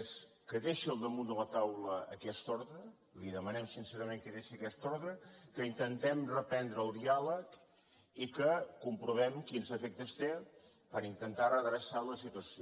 és que deixi al damunt de la taula aquesta ordre li demanem sincerament que deixi aquesta ordre que intentem reprendre el diàleg i que comprovem quins efectes té per intentar redreçar la situació